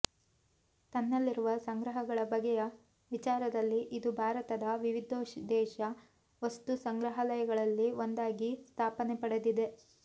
ತನ್ನಲ್ಲಿರುವ ಸಂಗ್ರಹಗಳ ಬಗೆಯ ವಿಚಾರದಲ್ಲಿ ಇದು ಭಾರತದ ವಿವಿಧೋದ್ದೇಶ ವಸ್ತು ಸಂಗ್ರಹಾಲಯಗಳಲ್ಲಿ ಒಂದಾಗಿ ಸ್ಥಾನಪಡೆದಿದೆ